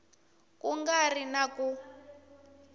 ku nga ri na ku